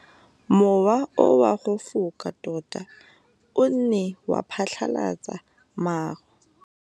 Mowa o wa go foka tota o ne wa phatlalatsa maru.